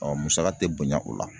musaka tɛ bonya o la.